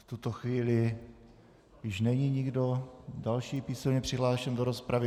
V tuto chvíli již není nikdo další písemně přihlášen do rozpravy.